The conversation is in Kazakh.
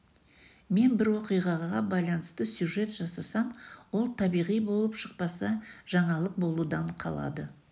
мен бір оқиғаға байланысты сюжет жасасам ол табиғи болып шықпаса жаңалық болудан қалады